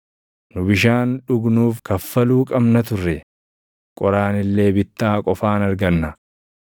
Nu bishaan dhugnuuf kaffaluu qabna turre; qoraan illee bittaa qofaan arganna.